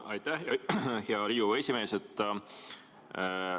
Aitäh, hea Riigikogu esimees!